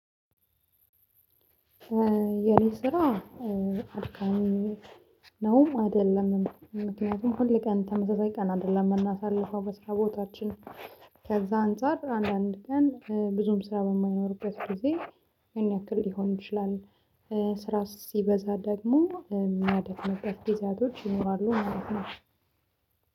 የኔ ስራ አድካሚ ነውም አይደለምም ምክንያቱም ሁል ቀን ተመሳሳይ ቀን አይደለም የምናሳልፈው በስራ ቦታችን ከዛ አንፃር አንዳንድ ቀን ብዙም ስራ በማይኖርበት ጊዜ ያን ያክል ሊሆን ይችላል፣ ስራ ሲበዛ ደግሞ የሚያደክሙበት ጊዜያቶች ይኖራሉ ማለት ነው።